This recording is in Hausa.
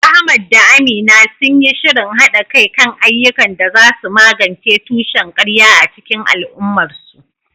Ahmad da Amina sun yi shirin haɗa kai kan ayyukan da za su magance tushen ƙarya a cikin al’ummarsu.